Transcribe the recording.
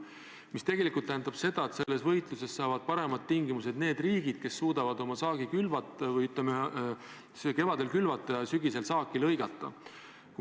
Mis tegelikult tähendab seda, et selles võitluses saavad paremad tingimused need riigid, kes suudavad sel kevadel kõik vajaliku külvata ja sügisel saaki koristada.